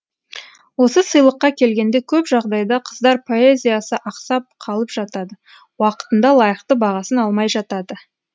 осы сыйлыққа келгенде көп жағдайда қыздар поэзиясы ақсап қалып жатады уақытында лайықты бағасын алмай жатады